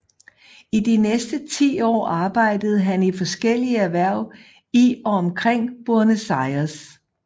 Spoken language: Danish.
I de næste ti år arbejdede han i forskellige erhverv i og omkring Buenos Aires